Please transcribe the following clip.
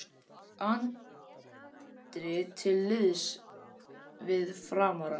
Andri til liðs við Framara